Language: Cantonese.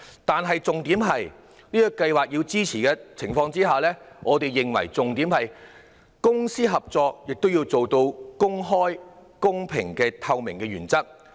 但重要的是，在支持這做法的同時，我們認為公私營合作亦要達致公開、公平及透明的原則。